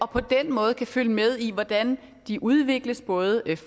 på den måde kan følge med i hvordan de udvikles både